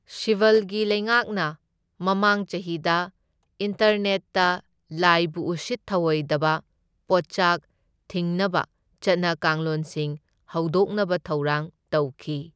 ꯁꯤꯕꯜꯒꯤ ꯂꯩꯉꯥꯛꯅ ꯃꯃꯥꯡ ꯆꯍꯤꯗ ꯏꯟꯇꯔꯅꯦꯠꯇ ꯂꯥꯏꯕꯨ ꯎꯁꯤꯠ ꯊꯑꯣꯏꯗꯕ ꯄꯣꯠꯆꯥꯛ ꯊꯤꯡꯅꯕ ꯆꯠꯅ ꯀꯥꯡꯂꯣꯟꯁꯤꯡ ꯍꯧꯗꯣꯛꯅꯕ ꯊꯧꯔꯥꯡ ꯇꯧꯈꯤ꯫